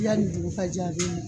yanni dugu ka jɛ a bɛ